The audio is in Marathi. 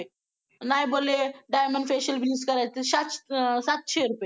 नाय बोले diamond facial bleach चे सातशे रुपय